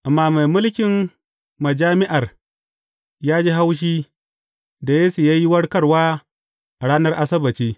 Amma mai mulkin majami’ar ya ji haushi da Yesu ya yi warkarwa a ranar Asabbaci.